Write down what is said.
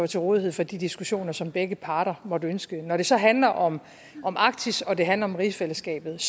til rådighed for de diskussioner som begge parter måtte ønske når det så handler om arktis og det handler om rigsfællesskabet